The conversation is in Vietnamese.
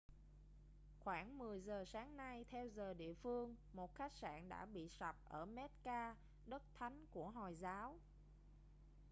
khoảng 10 giờ sáng nay theo giờ địa phương một khách sạn đã bị sập ở mecca đất thánh của hồi giáo